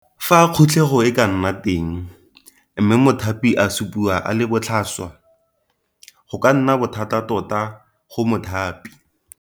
Fa khutlego e ka nna teng, mme mothapi a supiwa a le botlhaswa, go ka nna bothata tota go mothapi.